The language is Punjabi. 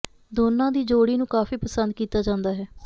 ਦੋਨਾਂ ਦੀ ਜੋੜੀ ਨੂੰ ਕਾਫ਼ੀ ਪਸੰਦ ਕੀਤਾ ਜਾਂਦਾ ਹੈ